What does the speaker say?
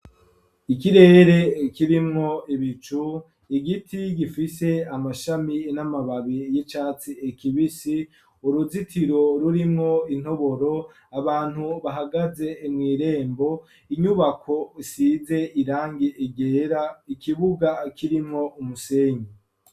Ikirere kirimwo ibicu igiti gifise amashami n'amababi y'icatsi kibisi uruzitiro rurimwo intoboro abantu bahagaze imuirembo inyubako rusize irangi ryera ikibuga kirimwo umusenyi.